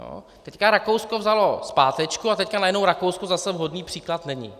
Teď Rakousko vzalo zpátečku a teď najednou Rakousko zase vhodný příklad není.